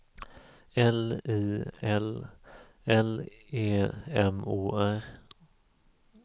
L I L L E M O R